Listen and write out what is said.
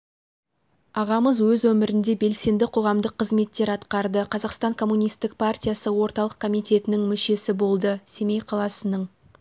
ағамыз өз өмірінде белсенді қоғамдық қызметтер атқарды қазақстан коммунистік партиясы орталық комитетінің мүшесі болды семей қаласының